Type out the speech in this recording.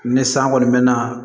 Ni san kɔni mɛɛnna